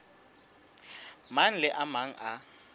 mang le a mang a